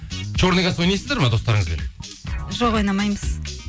черный касса ойнайсыздар ма достарыңызбен жоқ ойнамаймыз